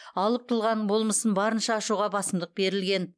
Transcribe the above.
алып тұлғаның болмысын барынша ашуға басымдық берілген